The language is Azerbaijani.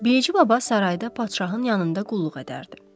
Bilici baba sarayda padşahın yanında qulluq edərdi.